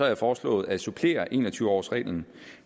jeg foreslået at supplere en og tyve årsreglen